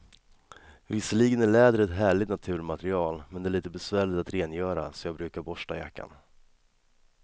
Visserligen är läder ett härligt naturmaterial, men det är lite besvärligt att rengöra, så jag brukar borsta jackan.